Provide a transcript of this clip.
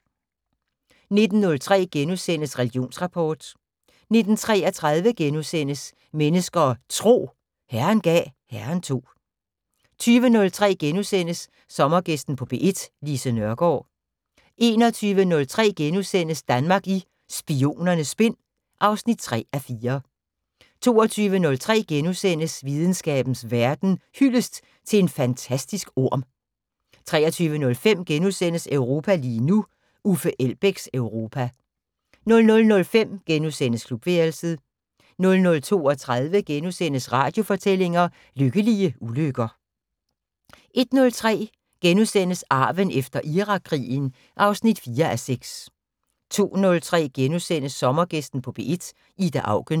19:03: Religionsrapport * 19:33: Mennesker og Tro: Herren gav, Herren tog * 20:03: Sommergæsten på P1: Lise Nørgaard * 21:03: Danmark i Spionernes Spind (3:4)* 22:03: Videnskabens Verden: Hyldest til en fantastisk orm * 23:05: Europa lige nu: Uffe Elbæks Europa * 00:05: Klubværelset * 00:32: Radiofortællinger: Lykkelige ulykker * 01:03: Arven efter Irakkrigen (4:6)* 02:03: Sommergæsten på P1: Ida Auken *